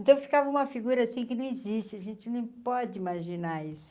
Então ficava uma figura assim que não existe, a gente não pode imaginar isso.